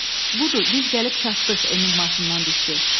Budur, biz gəlib çatdıq, Emil maşından düşdü.